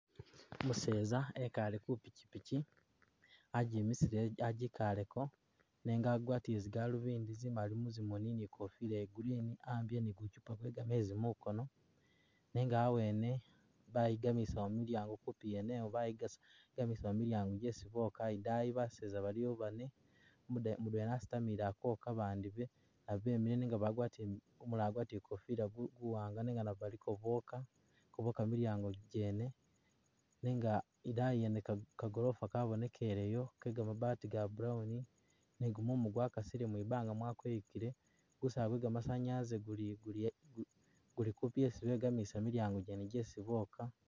Umuseza wikale ku pichipichi, agimisile, agikaleko, nenga agwatile zigalubindi zimali muzimoni ni ikofila iya green, a'ambile ni guchupa gwe gamezi mukono, nenga awene bayigamisawo milyango kupi yene iwo bayigamisawo milyango gesi boka idayi baseza baliwo bane mudwena wasitamile akwoka ba bandi be- nabo bemile nenga umulala agwatile gukofila guwanga nenga nabo baliko boka keboka milyango gene, nenga idayi yene ka gorofa kabonekeleyo ke gamabati ga brown, ni gumumu gwakasile mubanga mwakweyukile, gusaala gwe gamasanyalazi guli kupi yesi begamilisa milyango gene gesi boka.